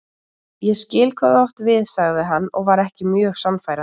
Ég skil hvað þú átt við sagði hann og var ekki mjög sannfærandi.